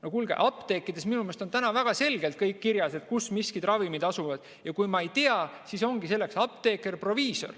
No kuulge, apteekides on minu meelest väga selgelt kirjas, kus miskid ravimid asuvad, ja kui ma ei tea, siis selleks ongi seal apteeker, proviisor.